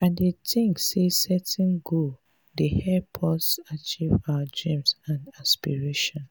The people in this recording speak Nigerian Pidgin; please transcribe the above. i dey think say setting goals dey help us achieve our dreams and aspirations.